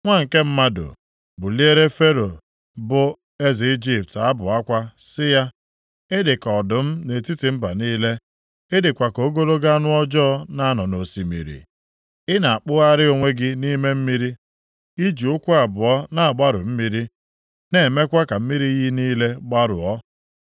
“Nwa nke mmadụ, buliere Fero bụ eze Ijipt, abụ akwa sị ya, “ ‘Ị dị ka ọdụm nʼetiti mba niile. Ị dịkwa ka ogologo anụ ọjọọ na-anọ nʼosimiri. I na-akpụgharị onwe gị nʼime mmiri. I ji ụkwụ abụọ na-agbarụ mmiri, na-emekwa ka mmiri iyi niile gbarụọ.